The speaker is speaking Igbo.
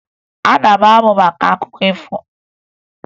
Ana m amụ maka akụkọ ifo